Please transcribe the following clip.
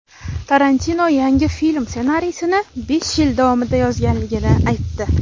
Tarantino yangi film ssenariysini besh yil davomida yozganligini aytdi.